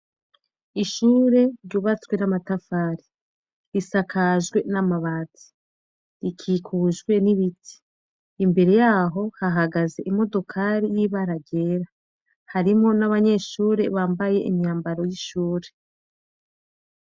Ishure ryubatswe n'amatafari, risakajwe n'amabati. Ikikujwe n'ibiti. Imbere yaho hahagaze imodokari ry'ibara ryera. Harimwo n'abanyeshure bambaye imyambaro w'ishuri.